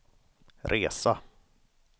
resa